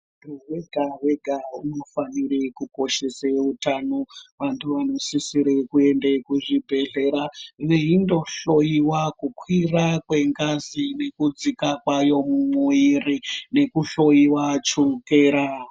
Muntu wega-wega unofanire kukoshesa utano, vantu vanosisire kuende kuzvibhedhleya veindohloyiwa kukwira kwengazi nekudzika kwayo mumwiri nekuhloyiwa chukera.